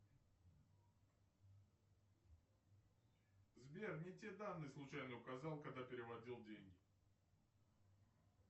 сбер не те данные случайно указал когда переводил деньги